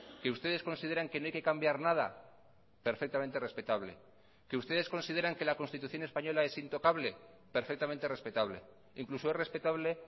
qué ustedes consideran que no hay que cambiar nada perfectamente respetable qué ustedes consideran que la constitución española es intocable perfectamente respetable incluso es respetable